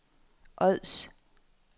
Ods